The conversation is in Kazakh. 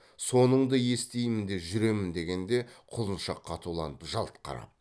соныңды естимін де жүремін дегенде құлыншақ қатуланып жалт қарап